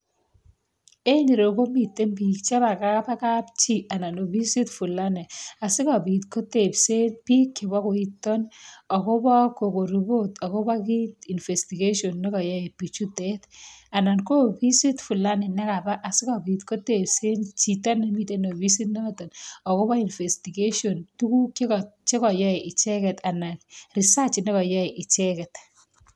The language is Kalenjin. En ireyu komiten biik chebo kapchii, anan ofisit Fulani. Asikobiit kotebseen bik chebo koiton akobo koko ripot akobo investigation ,nekoyoe bii chutet. Anan ko ofisit Fulani. nekabaa asikobiit kotebseen chito en ofisit notok akobo investigation tuguuk che koyoe icheket anan research nekoyoe icheket.